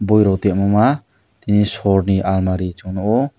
boi rok tongmoma tei sorni almari chung nuko.